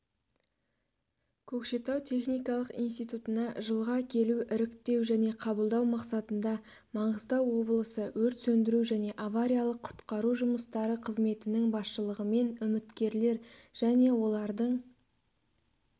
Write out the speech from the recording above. көкшетау техникалық институына жылға келу іріктеу және қабылдау мақсатында маңғыстау облысы өрт сөндіру және авариялық-құтқару жұмыстары қызметінің басшылығымен үміткерлер және олардың